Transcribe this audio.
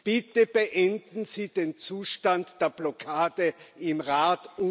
Bitte beenden Sie den Zustand der Blockade im Rat!